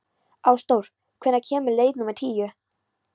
Ásdór, hvenær kemur leið númer tíu?